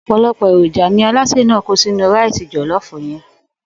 Ò̩pò̩lo̩pò̩ èròjà ni alásè náà kó sínú ráìsì jò̩ló̩ò̩fù ye̩n